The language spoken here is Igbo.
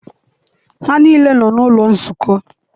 Ha niile nọ n'ụlọ nzukọ.